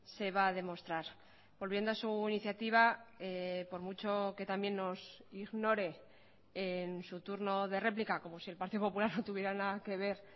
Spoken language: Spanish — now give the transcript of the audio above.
se va a demostrar volviendo a su iniciativa por mucho que también nos ignore en su turno de réplica como si el partido popular no tuviera nada que ver